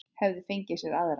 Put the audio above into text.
Hefði fengið sér aðra.